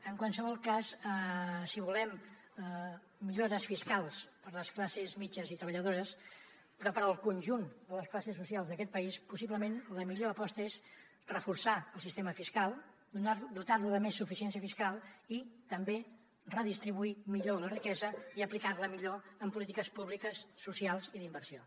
en qualsevol cas si volem millores fiscals per a les classes mitjanes i treballadores però per al conjunt de les classes socials d’aquest país possiblement la millor aposta és reforçar el sistema fiscal dotar lo de més suficiència fiscal i també redistribuir millor la riquesa i aplicar la millor en polítiques públiques socials i d’inversió